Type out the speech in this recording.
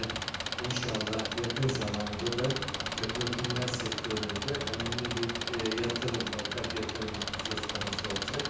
Və inşallah yaxın zamanda da petrokimya sektorunda önəmli bir yatırım, ortak yatırım söz konusu olacaq.